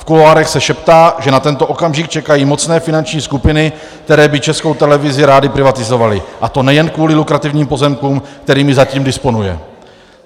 V kuloárech se šeptá, že na tento okamžik čekají mocné finanční skupiny, které by Českou televizi rády privatizovaly, a to nejen kvůli lukrativním pozemkům, kterými zatím disponuje.